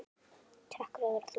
Takk fyrir að vera þú.